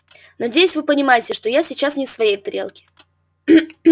надеюсь вы понимаете что я сейчас не в своей тарелке